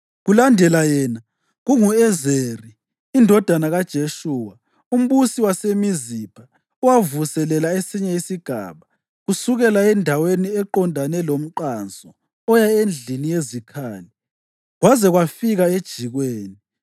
Kulandela yena, kungu-Ezeri indodana kaJeshuwa, umbusi waseMizipha, owavuselela esinye isigaba, kusukela endaweni eqondane lomqanso oya endlini yezikhali kwaze kwafika ejikweni.